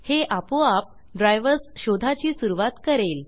हे आपोआप ड्राइवर्स शोधाची सुरवात करेल